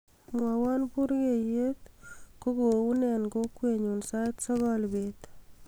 mwowon burgeiyet ko kounee en kokwenyun sait sogol beet